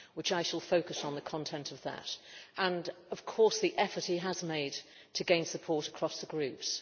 I shall focus on the content of that, and of course the effort he has made to gain support across the groups.